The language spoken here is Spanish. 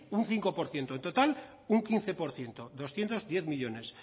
un cinco por ciento en total un quince por ciento doscientos diez millónes